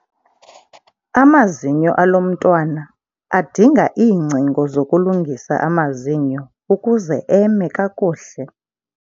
Amazinyo alo mntwana adinga iingcingo zokulungisa amazinyo ukuze eme kakuhle.